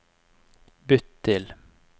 bytt til